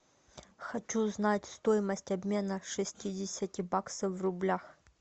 хочу знать стоимость обмена шестидесяти баксов в рублях